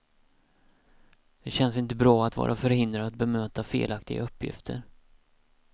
Det känns inte bra att vara förhindrad att bemöta felaktiga uppgifter.